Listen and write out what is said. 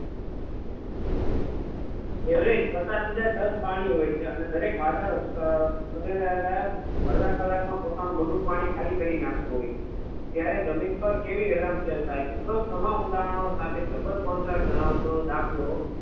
Average પચાસ હાજર ton પાણી હોય છે અને દરેક વાદળ અડધા કલાકમાં પોતાનું બધું પાણી ખાલી કરી નાખતું હોય છે. ત્યારે જમીન પર કેવી રેલમસેલ છે ઉપરોક્ત તમામ ઉદાહરણ સાથે જબર contract ધરાવતો દાખલો